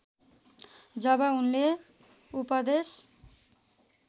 जब उनले उपदेश